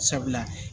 Sabula